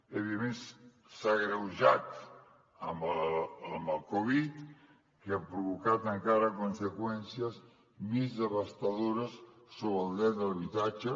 a més s’ha agreujat amb la covid que ha provocat encara conseqüències més devastadores sobre el dret a l’habitatge